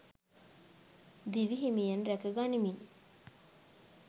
දිවි හිමියෙන් රැක ගනිමින්